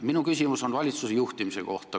Minu küsimus on valitsuse juhtimise kohta.